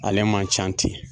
Ale man can ten.